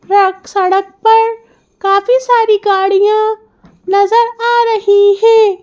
Truck सड़क पर काफी सारी गाड़िया नजर आ रही है।